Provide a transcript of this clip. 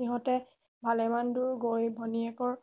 সিহঁতে ভালে মান দূৰ গৈ ভনীয়েকৰ